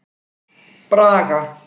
Braga